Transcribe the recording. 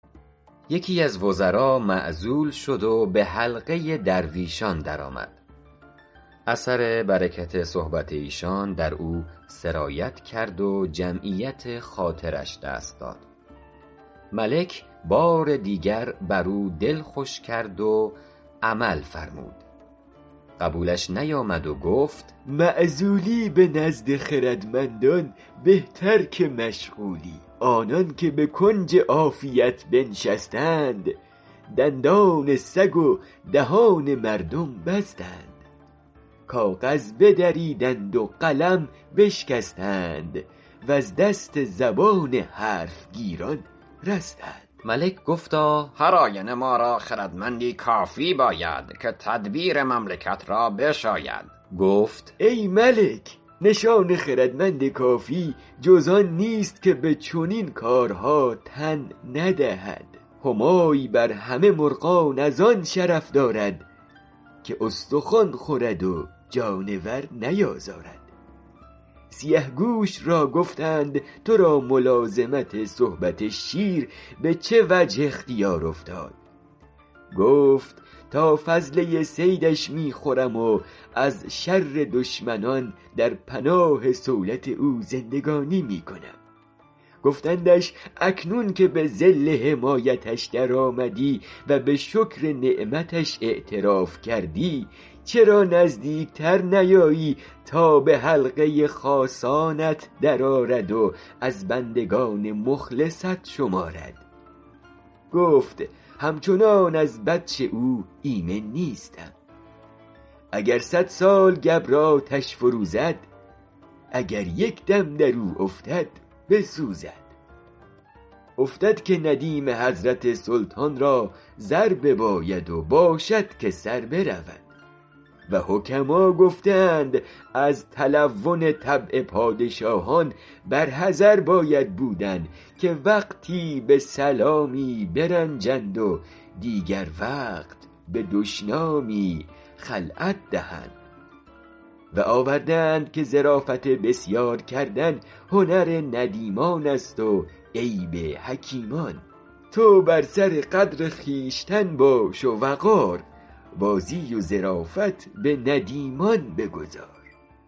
یکی از وزرا معزول شد و به حلقه درویشان درآمد اثر برکت صحبت ایشان در او سرایت کرد و جمعیت خاطرش دست داد ملک بار دیگر بر او دل خوش کرد و عمل فرمود قبولش نیامد و گفت معزولی به نزد خردمندان بهتر که مشغولی آنان که به کنج عافیت بنشستند دندان سگ و دهان مردم بستند کاغذ بدریدند و قلم بشکستند وز دست زبان حرف گیران رستند ملک گفتا هر آینه ما را خردمندی کافی باید که تدبیر مملکت را بشاید گفت ای ملک نشان خردمند کافی جز آن نیست که به چنین کارها تن ندهد همای بر همه مرغان از آن شرف دارد که استخوان خورد و جانور نیازارد سیه گوش را گفتند تو را ملازمت صحبت شیر به چه وجه اختیار افتاد گفت تا فضله صیدش می خورم و ز شر دشمنان در پناه صولت او زندگانی می کنم گفتندش اکنون که به ظل حمایتش در آمدی و به شکر نعمتش اعتراف کردی چرا نزدیک تر نیایی تا به حلقه خاصانت در آرد و از بندگان مخلصت شمارد گفت همچنان از بطش او ایمن نیستم اگر صد سال گبر آتش فروزد اگر یک دم در او افتد بسوزد افتد که ندیم حضرت سلطان را زر بیاید و باشد که سر برود و حکما گفته اند از تلون طبع پادشاهان بر حذر باید بودن که وقتی به سلامی برنجند و دیگر وقت به دشنامی خلعت دهند و آورده اند که ظرافت بسیار کردن هنر ندیمان است و عیب حکیمان تو بر سر قدر خویشتن باش و وقار بازی و ظرافت به ندیمان بگذار